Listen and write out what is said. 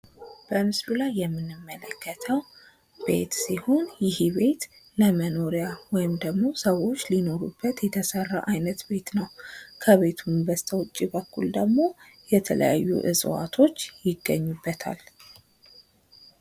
በምስሉ ላይ የምንመለከተው ቤት ሲሆን ይህ ቤት ለመኖሪያ ወይም ደሞ ሰዎች ሊኖሩበት የተሠራ አይነት ቤት ነው። ከቤቱ ውጭ በኩል ደሞ የተለያዩ ዕጽዋቶች ይገኙበታል።